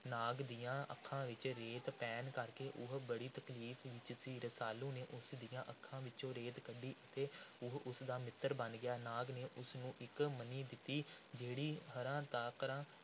ਨਾਗ ਦੀਆਂ ਅੱਖਾਂ ਵਿਚ ਰੇਤ ਪੈਣ ਕਰਕੇ ਉਹ ਬੜੀ ਤਕਲੀਫ਼ ਵਿੱਚ ਸੀ। ਰਸਾਲੂ ਨੇ ਉਸ ਦੀਆਂ ਅੱਖਾਂ ਵਿੱਚੋਂ ਰੇਤ ਕੱਢੀ ਅਤੇ ਉਹ ਉਸ ਦਾ ਮਿੱਤਰ ਬਣ ਗਿਆ। ਨਾਗ ਨੇ ਉਸ ਨੂੰ ਇਕ ਮਣੀ ਦਿੱਤੀ, ਜਿਹੜੀ ਹਾਰਾ ਤਾਕਰਾ